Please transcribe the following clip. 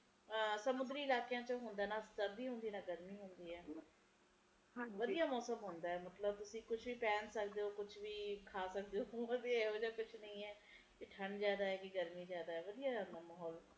ਸਮੁੰਦਰੀ ਇਲਾਕਿਆਂ ਚ ਹੁੰਦਾ ਨਾ ਜਿਵੇ ਨਾ ਗਰਮੀ ਹੁੰਦੈ ਐ ਨਾ ਸਰਦੀ ਹੁੰਦੀ ਐ ਵਧੀਆ ਮੌਸਮ ਹੁੰਦਾ ਮਤਲਬ ਤੁਸੀ ਕੁਜ ਵੀ ਪਹਿਨ ਸਕਦੇਓ ਕੁਜ ਵੀ ਖਾ ਸਕਦੇ ਊ ਓਥੇ ਓਹਜਿਆ ਕੁਜ ਨਹੀਂ ਐ ਨਾ ਠੰਡ ਜ਼ਿਆਦਾ ਨਾ ਗਰਮੀ ਜ਼ਿਆਦਾ ਵਧੀਆ ਮਾਹੌਲ